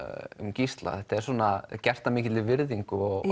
Gísla þetta er gert af mikilli virðingu og